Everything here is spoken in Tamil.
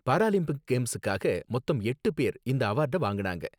பாராலிம்பிக் கேம்ஸுக்காக மொத்தம் எட்டு பேரு இந்த அவார்ட வாங்குனாங்க